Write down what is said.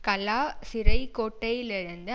கலா சிறை கோட்டையிலிருந்து